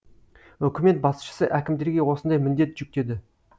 үкімет басшысы әкімдерге осындай міндет жүктеді